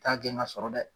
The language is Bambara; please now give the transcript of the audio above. T'a gɛn ka sɔrɔ dɛ